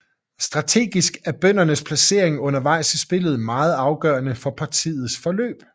Strategisk er bøndernes placering undervejs i spillet meget afgørende for partiets forløb